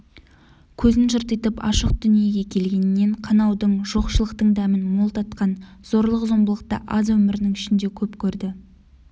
көзін жыртитып ашып дүниеге келгеннен қанаудың жоқшылықтың дәмін мол татқан зорлық-зомбылықты аз өмірінің ішінде көп көрді